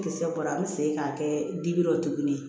Kisɛ bɔra an bɛ segin k'a kɛ dibi la tuguni